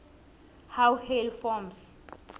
how hail forms